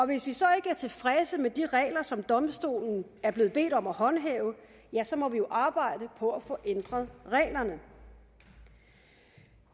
hvis vi så ikke er tilfredse med de regler som domstolen er blevet bedt om at håndhæve ja så må vi jo arbejde på at få ændret reglerne